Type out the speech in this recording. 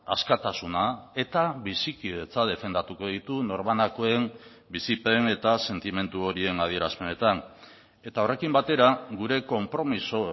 askatasuna eta bizikidetza defendatuko ditu norbanakoen bizipen eta sentimendu horien adierazpenetan eta horrekin batera gure konpromiso